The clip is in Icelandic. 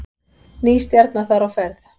Ný stjarna þar á ferð